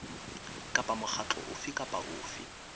kapa mokgatlo ofe kapa ofe